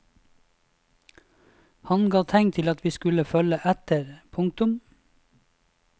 Han ga tegn til at vi skulle følge etter. punktum